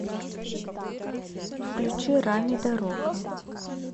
включи рами дарока